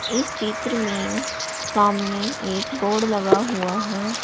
इस चित्र में सामने एक बोर्ड लगा हुआ है।